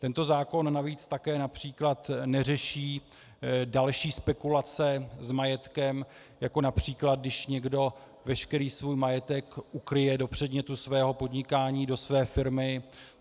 Tento zákon navíc také například neřeší další spekulace s majetkem, jako například když někdo veškerý svůj majetek ukryje do předmětu svého podnikání, do své firmy.